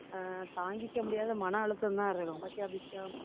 ஆஹ் தாங்கிக்க முடியாத மன அழுத்தம்தான் இருக்கும். பாத்தியா அபிஷா